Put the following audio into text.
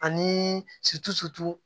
Ani